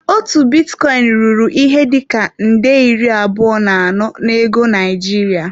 Otu bitcoin ruru ihe dị ka nde iri abụọ na anọ na ego Naịjirịa.